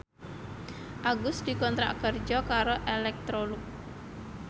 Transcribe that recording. Agus dikontrak kerja karo Electrolux